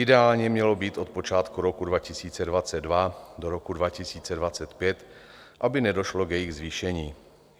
Ideálně měl být od počátku roku 2022 do roku 2025, aby nedošlo k jejich zvýšení.